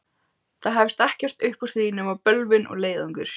Það hefst ekkert uppúr því nema bölvun og leiðangur!